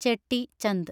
Chetty Chand